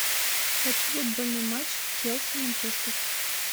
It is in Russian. хочу футбольный матч челси манчестер